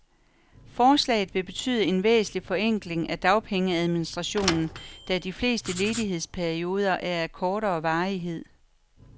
Forslaget vil betyde en væsentlig forenkling af dagpengeadministrationen, da de fleste ledighedsperioder er af kortere varighed.